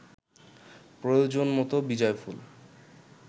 প্রয়োজন মতো বিজয়ফুল